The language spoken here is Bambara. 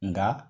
Nka